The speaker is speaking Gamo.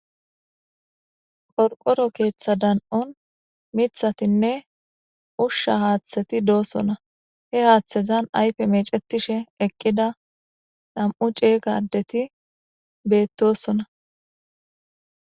Qorqoro keththa danon miththati nne ushsha haththatti deosona he haththan ayife mecetish eqqida nammu ceega addethi bethosona.